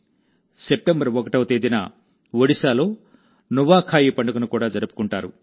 September 1వ తేదీన ఒడిశాలో నువాఖాయి పండుగను కూడా జరుపుకుంటారు